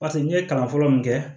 Paseke n'i ye kalan fɔlɔ min kɛ